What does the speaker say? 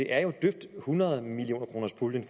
er jo døbt hundrede millioner kroners puljen